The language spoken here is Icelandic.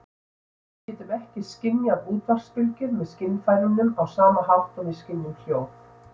Við getum ekki skynjað útvarpsbylgjur með skynfærunum á sama hátt og við skynjum hljóð.